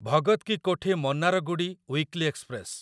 Bhagat Ki Kothi Mannargudi weekly express